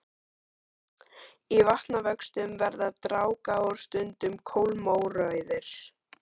Í vatnavöxtum verða dragár stundum kolmórauðar.